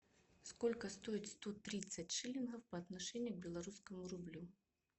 сколько стоит сто тридцать шиллингов по отношению к белорусскому рублю